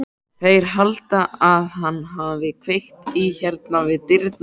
Þeir halda að hann hafi kveikt í hérna við dyrnar.